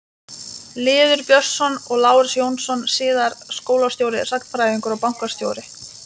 Lýður Björnsson og Lárus Jónsson- síðar skólastjóri, sagnfræðingur og bankastjóri.